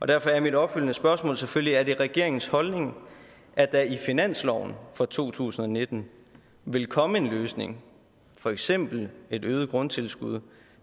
derfor er mit opfølgende spørgsmål selvfølgelig er det regeringens holdning at der i finansloven for to tusind og nitten vil komme en løsning for eksempel et øget grundtilskud